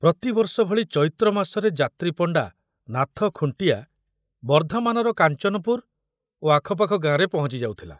ପ୍ରତିବର୍ଷ ଭଳି ଚୈତ୍ର ମାସରେ ଯାତ୍ରୀ ପଣ୍ଡା ନାଥ ଖୁଣ୍ଟିଆ ବର୍ଦ୍ଧମାନର କାଞ୍ଚନପୁର ଓ ଆଖପାଖ ଗାଁରେ ପହଞ୍ଚି ଯାଉଥିଲା।